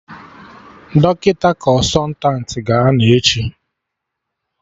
Dọkịta Kọnsọtanti ga-anọ echi